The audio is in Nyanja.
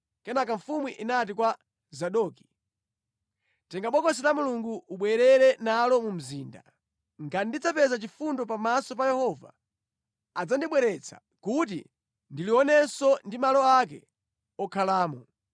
Kenaka mfumu inati kwa Zadoki, “Tenga Bokosi la Mulungu ubwerere nalo mu mzinda. Ngati ndidzapeza chifundo pamaso pa Yehova, adzandibweretsa kuti ndilionenso ndi malo ake okhalamo.